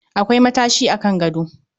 Akwai matashi a Kan gado